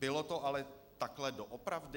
Bylo to ale takhle doopravdy?